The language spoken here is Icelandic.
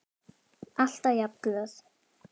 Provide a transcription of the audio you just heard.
Alltaf jafn glöð.